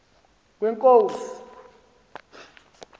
kwenkosi